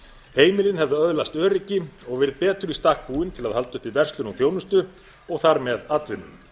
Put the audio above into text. heimilin hefðu öðlast öryggi og verið betur í stakk búin til að halda uppi verslun og þjónustu og þar með atvinnu